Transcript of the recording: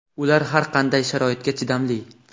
ular har qanday sharoitga chidamli.